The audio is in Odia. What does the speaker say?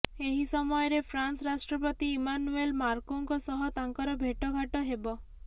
ଏହି ସମୟରେ ଫ୍ରାନ୍ସ ରାଷ୍ଟ୍ରପତି ଇମାନୁଏଲ ମାକ୍ରୋଁଙ୍କ ସହ ତାଙ୍କର ଭେଟଘାଟ ହେବ